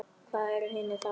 Hvað eru hinir þá?